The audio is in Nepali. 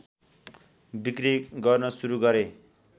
बिक्री गर्न सुरु गरे